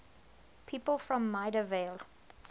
people from maida vale